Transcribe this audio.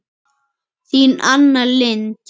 Þín Anna Lind.